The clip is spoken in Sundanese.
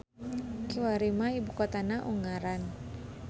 Kiwari mah ibu kotana Ungaran.